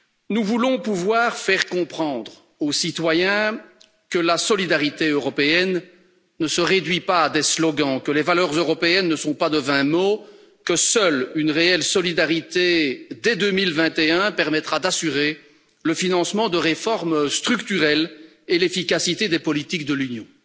Nous voulons pouvoir faire comprendre aux citoyens que la solidarité européenne ne se réduit pas à des slogans, que les valeurs européennes ne sont pas de vains mots, que seule une réelle solidarité dès 2021 permettra d'assurer le financement de réformes structurelles et l'efficacité des politiques de l'Union.